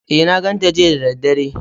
E, na ganta jiya da daddare.